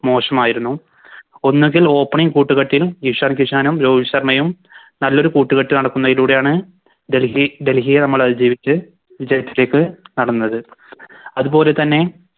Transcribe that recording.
മോശമായിരുന്നു ഒന്നെങ്കിൽ Opening കൂട്ടുകെട്ടിൽ ഇഷാൻ കിഷനും രോഹിത് ശർമ്മയും നല്ലൊരു കൂട്ടുകെട്ട് നടത്തുന്നതിലൂടെയാണ് ഡൽഹി ഡൽഹിയെ നമ്മളതിജീവിച്ച് വിജയത്തിലേക്ക് കടന്നത് അതുപോലെ തന്നെ